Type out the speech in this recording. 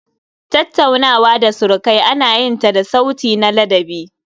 Tattaunawa da surukai ana yin ta da sauti na ladabi